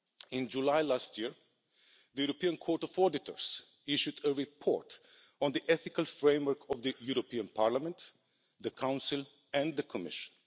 In July last year, the European Court of Auditors issued a report on the ethical framework of the European Parliament, the Council and the Commission.